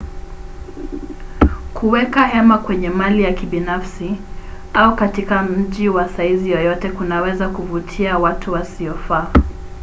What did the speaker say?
kuweka hema kwenye mali ya kibinafsi au katika mji wa saizi yoyote kunaweza kuvutia watu wasiofaa